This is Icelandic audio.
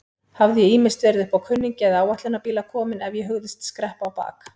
Hafði ég ýmist verið uppá kunningja eða áætlunarbíla kominn ef ég hugðist skreppa á bak.